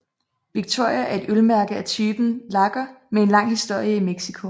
Victoria er et ølmærke af typen lager med en lang historie i Mexico